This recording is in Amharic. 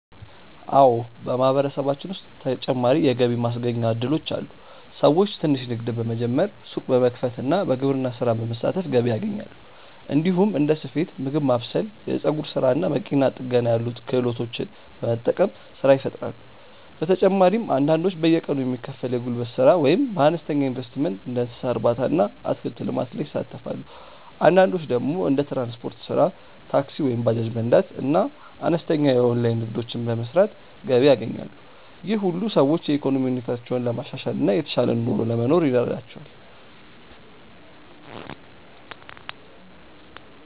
አዎ፣ በማህበረሰባችን ውስጥ ተጨማሪ የገቢ ማስገኛ እድሎች አሉ። ሰዎች ትንሽ ንግድ በመጀመር፣ ሱቅ በመክፈት እና በግብርና ስራ በመሳተፍ ገቢ ያገኛሉ። እንዲሁም እንደ ስፌት፣ ምግብ ማብሰል፣ የፀጉር ስራ እና መኪና ጥገና ያሉ ክህሎቶችን በመጠቀም ስራ ይፈጥራሉ። በተጨማሪም አንዳንዶች በየቀኑ የሚከፈል የጉልበት ስራ ወይም በአነስተኛ ኢንቨስትመንት እንደ እንስሳ እርባታ እና አትክልት ልማት ይሳተፋሉ። አንዳንዶች ደግሞ እንደ ትራንስፖርት ስራ (ታክሲ ወይም ባጃጅ መንዳት) እና አነስተኛ የኦንላይን ንግድ በመስራት ገቢ ያገኛሉ። ይህ ሁሉ ሰዎች የኢኮኖሚ ሁኔታቸውን ለማሻሻል እና የተሻለ ኑሮ ለመኖር ይረዳቸዋል።